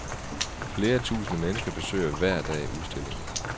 Flere tusinde mennesker besøger hver dag udstillingen.